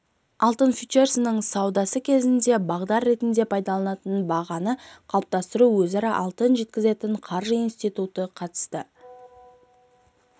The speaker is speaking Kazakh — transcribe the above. алтын фьючерстерінің саудасы кезінде бағдар ретінде пайдаланылады бағаны қалыптастыруға өзара алтын жеткізетін қаржы институты қатысады